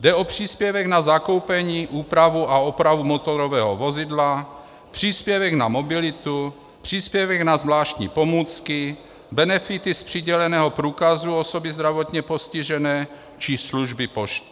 Jde o příspěvek na zakoupení, úpravu a opravu motorového vozidla, příspěvek na mobilitu, příspěvek na zvláštní pomůcky, benefity z přiděleného průkazu osoby zdravotně postižené či služby pošt.